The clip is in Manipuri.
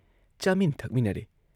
ꯆꯥꯃꯤꯟ ꯊꯛꯃꯤꯟꯅꯔꯦ ꯫